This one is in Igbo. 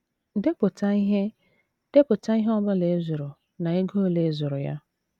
Depụta ihe Depụta ihe ọ bụla ị zụrụ na ego ole ị zụrụ ya.